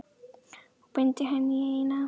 Og beindi henni í eina átt.